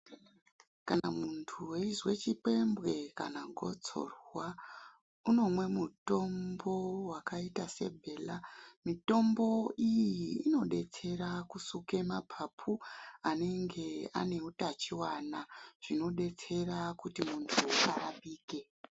Kana muntu weizwe chipembwe kana gotsorwa unomwe mutombo wakaita sebhela. Mitombo iyi inodetsera kusuke mapapu anenge ane utachiwana. Zvinodetsera kuti muntu arapike.